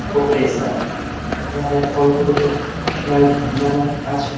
কপরেশা এধারে ফল গুলোতে লাইট লাগা আছে।